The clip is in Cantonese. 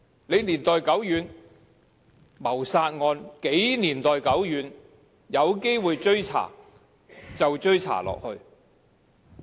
即使謀殺案發生的時間是多麼年代久遠，有機會追查就要追查下去。